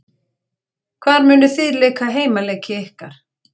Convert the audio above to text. Hvar munuð þið leika heimaleiki ykkar?